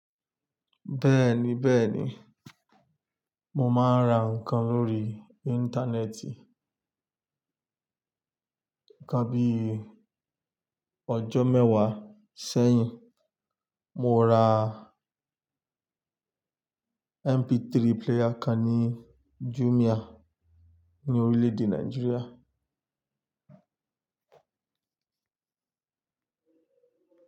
Bẹ́ẹ̀ni bẹ́ẹ̀ni, mo máa ń ra ǹkan lórí Íńtánẹ́ẹ̀tì. Nkan bí ọjọ́ mẹ́wàá sẹ́yìn, mo ra MP3 player kan ní Jumia ní orílẹ̀ èdè Nàìjíríà.